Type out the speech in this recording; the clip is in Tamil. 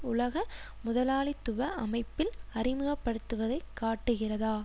உலக முதலாளித்துவ அமைப்பில் அறிமுகப்படுத்துவதை காட்டுகிறதா